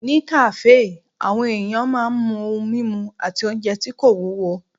Ní kàáfè, àwọn èèyàn máa n mu ohun mímu àti oúnjẹ tí kò wúwo